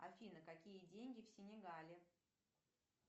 афина какие деньги в сенегале